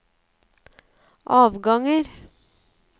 avganger